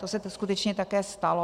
To se tu skutečně také stalo.